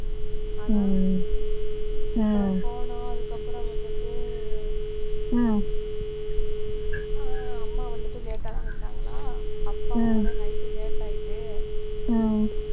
அதான் அப்புறம் போனோம், அதுக்கப்புறம் வந்துட்டு ஹம் அம்மா வந்துட்டு late ஆ தான் வந்தாங்களா, அப்பாவும் வர night late ஆயிட்டு